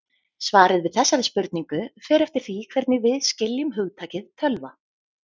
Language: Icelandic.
Svarið við þessari spurningu fer eftir því hvernig við skiljum hugtakið tölva.